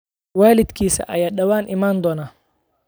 Waalidkiis ayaa dhawaan iman doona